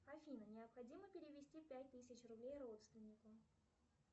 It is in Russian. афина необходимо перевести пять тысяч рублей родственнику